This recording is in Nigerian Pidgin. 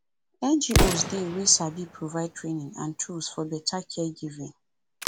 ngos dey wey sabi provide training and tools for better caregiving